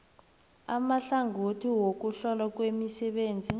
amahlangothi wokuhlolwa kwemisebenzi